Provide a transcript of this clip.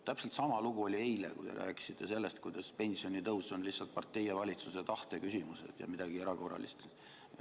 Täpselt sama lugu oli eile, kui te rääkisite sellest, kuidas pensionitõus on lihtsalt partei ja valitsuse tahte küsimus ja midagi erakorralist.